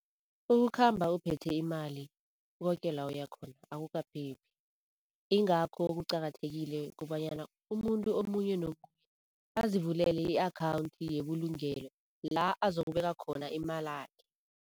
Ukukhamba uphethe imali koke la uyakhona akukaphephi, yingakho kuqakathekile kobanyana umuntu omunye nomunye azivulele i-akhawunthi yebulungelo la azokubeka khona imalakhe.